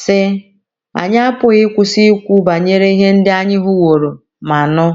sị: “ Anyị apụghị ịkwụsị ikwu banyere ihe ndị anyị hụworo ma nụ. ”